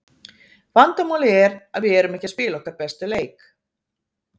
Vandamálið er að við erum ekki að spila okkar besta leik.